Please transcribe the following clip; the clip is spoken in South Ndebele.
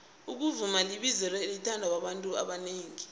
ukuvuma libizelo elithandwa babantu abanengi